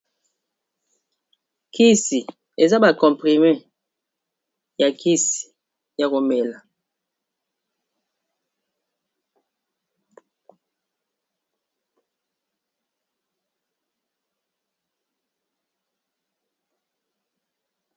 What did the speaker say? kisi eza bacomprime ya kisi ya komela kisi oyo soki omeli yango oko bika ba bokono nayo